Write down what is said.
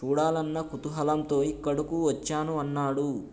చూడాలన్న కుతూహలంతో ఇక్కడకు వచ్చాను అన్నాడు